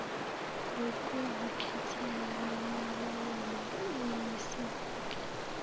lokuzikhethela lemilayelo iyisisekelo